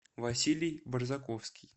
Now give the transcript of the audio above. василий борзаковский